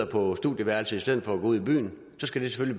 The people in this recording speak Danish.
på studieværelset i stedet for at gå ud i byen så skal det